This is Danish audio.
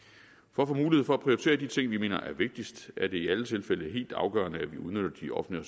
få mulighed for at prioritere de ting vi mener er vigtigst er det i alle tilfælde helt afgørende at vi udnytter de offentlige